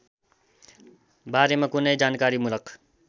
बारेमा कुनै जानकारीमूलक